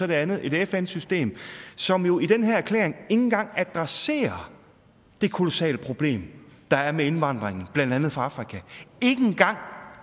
det andet er et fn system som jo i den her erklæring engang adresserer det kolossale problem der er med indvandringen blandt andet fra afrika ikke engang